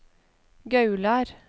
Gaular